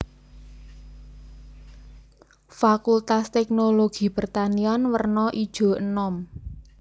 Fakultas Teknologi Pertanian werna ijo enom